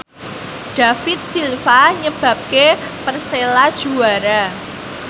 David Silva nyebabke Persela juara